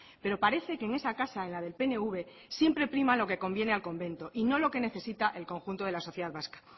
pero parece que en esa casa en la del pnv siempre prima lo que conviene al convento y no lo que necesita el conjunto de la sociedad vasca